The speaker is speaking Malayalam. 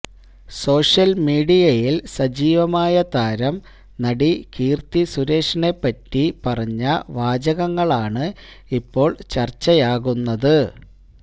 സോഷ്യല്മീഡിയയില് സജീവമായ താരം നടി കീര്ത്തി സുരേഷിനെപ്പറ്റി പറഞ്ഞ വാചകങ്ങളാണ് ഇപ്പോള് ചര്ച്ചയാകുന്നത്